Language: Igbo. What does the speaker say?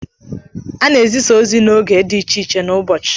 A na-ezisa ozi n'oge dị iche iche n'ụbọchị.